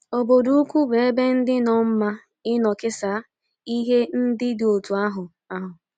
Obodo ukwu bụ ebe dị nnọọ mma ịnọ kesaa ihe ndị dị otú ahụ. ahụ.